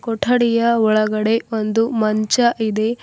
ಕೊಠಡಿಯ ಒಳಗಡೆ ಒಂದು ಮಂಚ ಇದೆ.